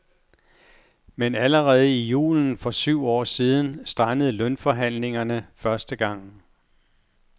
Men allerede i julen for syv år siden strandede lønforhandlingerne første gang.